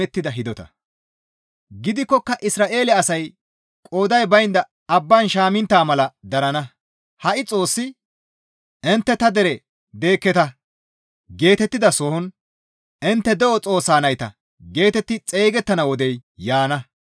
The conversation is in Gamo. Gidikkoka Isra7eele asay qooday baynda abban shaamintta mala darana. Ha7i Xoossi, «Intte ta dere deekketa» geetettidasohon, «Intte de7o Xoossa nayta» geetetti xeygettana wodey yaana.